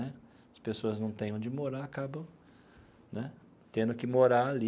Né as pessoas não têm onde morar, acabam né tendo que morar ali,